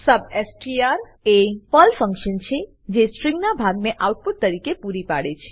substr એ Perl function છે જે સ્ટ્રીંગના ભાગને આઉટપુટતરીકે પૂરી પાડે છે